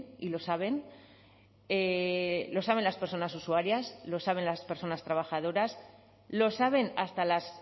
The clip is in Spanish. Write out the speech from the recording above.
y lo saben lo saben las personas usuarias lo saben las personas trabajadoras lo saben hasta las